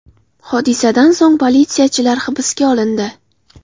Hodisadan so‘ng politsiyachilar hibsga olindi.